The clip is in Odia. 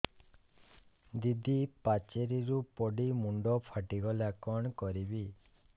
ଦିଦି ପାଚେରୀରୁ ପଡି ମୁଣ୍ଡ ଫାଟିଗଲା କଣ କରିବି